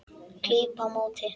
Klíp á móti.